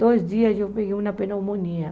Dois dias eu peguei uma pneumonia.